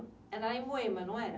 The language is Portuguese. É lá em Moema, não é?